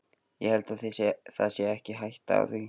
Ég held það sé ekki hætta á því.